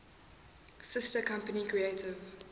sister company creative